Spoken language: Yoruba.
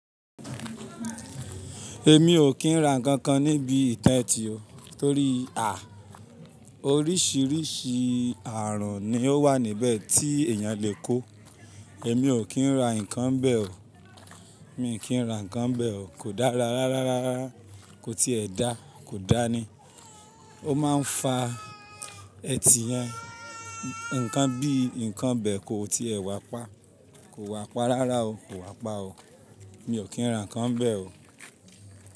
Èmi ò kí ń ra nkankan níbi ìtẹ́tí o, torí oríṣiríṣi àrùn ni ó wà níbẹ̀ tí èèyàn lè kó. Èmi ò kí ń ra nǹkan bẹ o, mi kí ń rà nkankan bẹ o. Kò dára rárárá, kò tíì ẹ dá, kò dáa ni. Ó máa ń fa ẹ̀tì yẹn. Nǹkan bíi nǹkan bẹ kò tíì ẹ wà pa, kò wà pa rárá o, kò wà pa o. Èmi ò kí ń rà nkankan bẹ o.